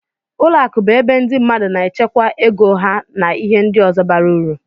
Ụlọ akụ bụ ebe ndị mmadụ na-echekwa ego ha na ihe ndị ọzọ bara ụrụ.